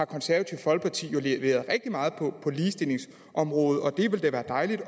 konservative folkeparti jo leveret rigtig meget på ligestillingsområdet det ville da være dejligt at